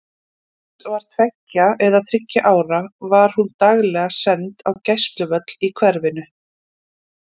Þegar Íris var tveggja eða þriggja ára var hún daglega send á gæsluvöll í hverfinu.